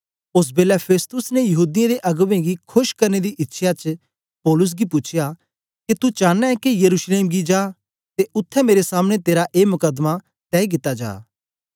ओस बेलै फेस्तुस ने यहूदीयें दे अगबें गी खोश करने दी इच्छया च पौलुस गी पूछया के तू चांना ऐ के यरूशलेम गी जा ते उत्थें मेरे सामने तेरा ए मकदमा तय कित्ता जा